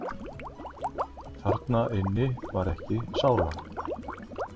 Þarna inni var ekki sála.